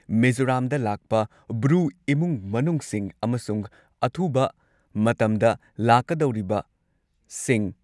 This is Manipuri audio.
ꯃꯤꯖꯣꯔꯥꯝꯗ ꯂꯥꯛꯄ ꯕ꯭ꯔꯨ ꯏꯃꯨꯡ ꯃꯅꯨꯡꯁꯤꯡ ꯑꯃꯁꯨꯡ ꯑꯊꯨꯕ ꯃꯇꯝꯗ ꯂꯥꯛꯀꯗꯧꯔꯤꯕꯁꯤꯡ